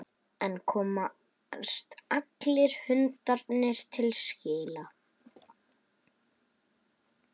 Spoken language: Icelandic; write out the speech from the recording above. En komast allir hundarnir til skila?